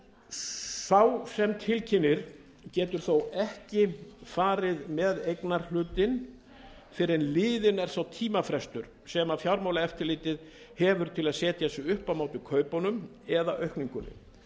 sá sem tilkynnir getur þó ekki farið með eignarhlutinn fyrr en liðin er sá tímafrestur sem fjármálaeftirlitið hefur til að setja sig upp á móti kaupunum eða aukningunni